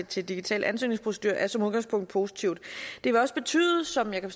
til digital ansøgningsprocedure som udgangspunkt positivt det vil også betyde som jeg kan